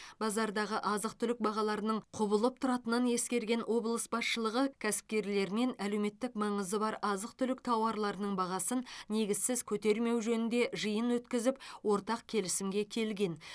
базардағы азық түлік бағаларының құбылып тұратынын ескерген облыс басшылығы кәсіпкерлермен әлеуметтік маңызы бар азық түлік тауарларының бағасын негізсіз көтермеу жөнінде жиын өткізіп ортақ келісімге келген